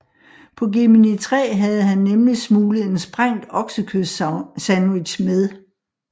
På Gemini 3 havde han nemlig smuglet en sprængt oksekødssandwich med